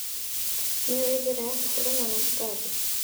Nĩũĩ njĩra ya kũhũrana na tũtambi.